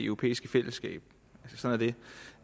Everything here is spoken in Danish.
europæiske fællesskab sådan